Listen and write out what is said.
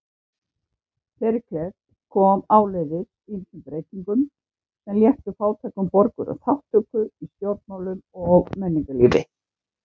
Períkles kom áleiðis ýmsum breytingum sem léttu fátækum borgurum þátttöku í stjórnmálum og menningarlífi.